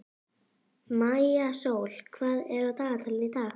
Maísól, hvað er á dagatalinu í dag?